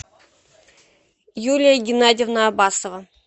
юлия геннадьевна абасова